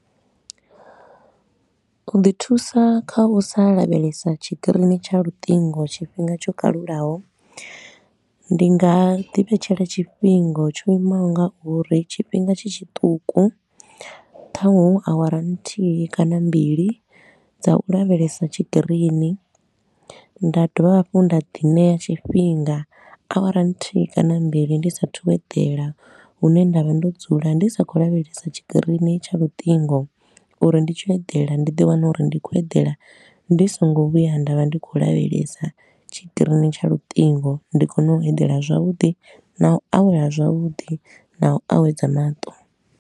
U ḓi thusa kha u sa lavhelesa tshikirini tsha luṱingo tshifhinga tsho kalulaho, ndi nga ḓi vhetshela tshifhinga tsho imaho nga uri, tshifhinga tshi tshiṱuku. Thanwe awara nthihi kana mbili dza u lavhelesa tshikirini, nda dovha hafhu nda ḓi ṋea tshifhinga, awara nthihi kana mbili ndi sa athu u edela, hune nda vha ndo dzula ndi sa khou lavhelesa tshikirini tsha luṱingo uri ndi tshi eḓela ndi ḓi wane uri ndi khou eḓela ndi so ngo vhuya nda vha ndi khou lavhelesa tshikirini tsha luṱingo, ndi kone u edela zwavhuḓi na u awela zwavhuḓi na u awedza maṱo.